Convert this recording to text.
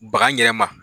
Baga ɲɛnɛma